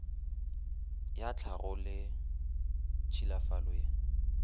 ya tlhago le tšhilafalo ye